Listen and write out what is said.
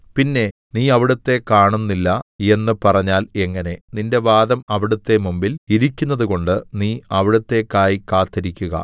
പിന്നെ നീ അവിടുത്തെ കാണുന്നില്ല എന്നു പറഞ്ഞാൽ എങ്ങനെ നിന്റെ വാദം അവിടുത്തെ മുമ്പിൽ ഇരിക്കുന്നതുകൊണ്ട് നീ അവിടുത്തേക്കായി കാത്തിരിക്കുക